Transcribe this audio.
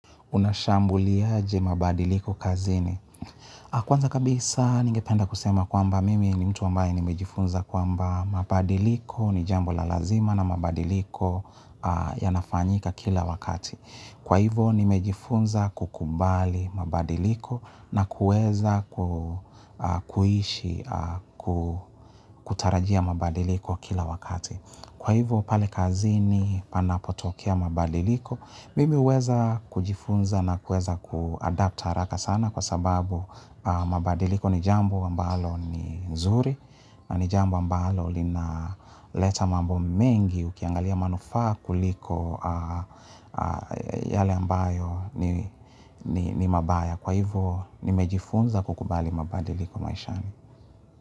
Unashambuliaje mabadiliko kazini. Kwanza kabisa ningependa kusema kwamba mimi ni mtu ambaye nimejifunza kwamba mabadiliko ni jambo la lazima na mabadiliko yanafanyika kila wakati. Kwa hivo nimejifunza kukubali mabadiliko na kueza kuishi kutarajia mabadiliko kila wakati. Kwa hivyo pale kazini panapotokia mabadiliko, mimi huweza kujifunza na kuweza kuadapt haraka sana kwa sababu mabadiliko ni jambo ambalo ni nzuri na ni jambo ambalo linaleta mambo mengi ukiangalia manufaa kuliko yale ambayo ni mabaya. Kwa hivyo nimejifunza kukubali mabadiliko maishani.